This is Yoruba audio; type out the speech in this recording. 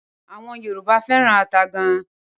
Awọn Yorùbá feran ata gan